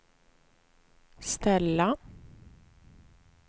ställa